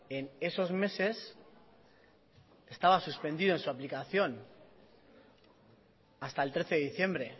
en esos meses estaba suspendido en su aplicación hasta el trece de diciembre